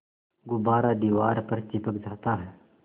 गुब्बारा दीवार पर चिपक जाता है